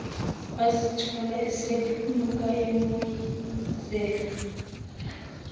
wazithola esephunyuka emoyizela